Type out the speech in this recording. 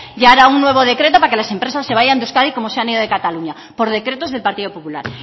ya grabazio akatsa un nuevo decreto para que las empresas se vayan de euskadi como se han ido de cataluña por decretos del partido popular